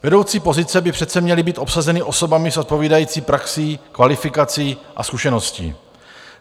Vedoucí pozice by přece měly být obsazeny osobami s odpovídající praxí, kvalifikací a zkušeností.